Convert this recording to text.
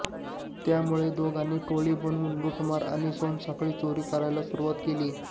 त्यामुळे दोघांनी टोळी बनवून लूटमार आणि सोनसाखळी चोरी करायला सुरुवात केली